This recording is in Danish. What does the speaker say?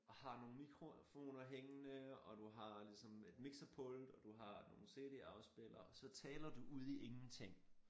Og har nogle mikrofoner hængende og du har ligesom et mixerpult og du har nogle cd-afspillere og så taler du ud i ingenting